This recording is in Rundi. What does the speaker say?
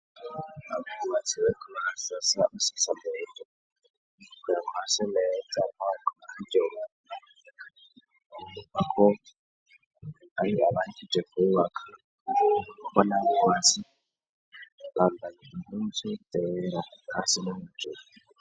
Abmaziwekomarasasa asitsamuto kukera nkwa semero za mpanga airyo mukako ayi abakije kububakanakuko n'abubazi bambanija umunsi buteweraku hasi n'mujuru.